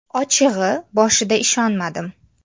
Ochig‘i, boshida ishonmadim.